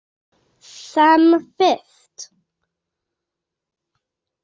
Sem fyrst.